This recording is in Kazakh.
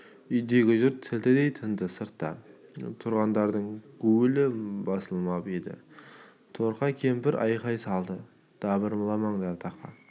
үйдегі жұрт сілтідей тынды сыртта тұрғаңдардың гуілі басылмап еді торқа кемпір айқай салды дабырламаңдар тақа